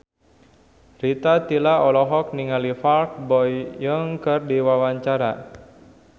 Rita Tila olohok ningali Park Bo Yung keur diwawancara